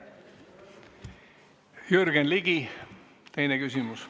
Jürgen Ligi, teine küsimus.